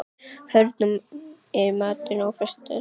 Hörn, hvað er í matinn á föstudaginn?